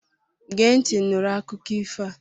Gee ntị nụrụ akụkọ ifo a!